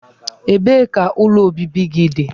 Ebee ka ụlọ obibi gị dị?